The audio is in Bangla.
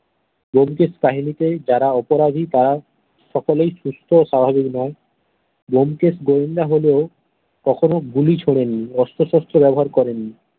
ব্যোমকেশ কাহিনীতে যারা অপরাধী তারা সকলেই সুস্থ ও স্বাভাবিক নয় ব্যোমকেশ গেয়েন্দা হল কখনো গুলি ছোঁড়েন নি অস্ত্র শস্ত্র ব্যাবহার করেন নি।